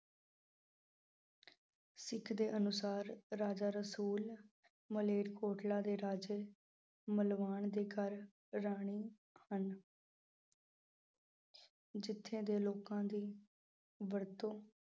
ਸਿੱਖ ਦੇ ਅਨੁਸਾਰ, ਰਾਜਾ ਰਸੂਲ ਮਲੇਰਕੋਟਲਾ ਦੇ ਰਾਜੇ, ਮਲਵਾਨ ਦੇ ਘਰ ਰਾਣੀ ਹਨ। ਜਿੱਥੇ ਦੇ ਲੋਕਾਂ ਦੀ ਵਰਤੋਂ ।